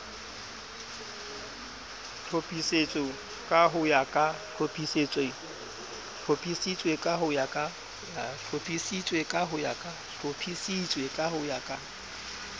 hlophisitswe ka ho ya ka